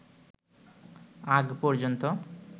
আগ পর্যন্ত